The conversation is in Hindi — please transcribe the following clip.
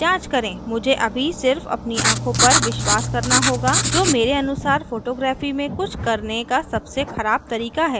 मुझे अभी सिर्फ अपनी आँखों पर विश्वास करना होगा जो मेरे अनुसार photography में कुछ करने का सबसे खराब तरीका है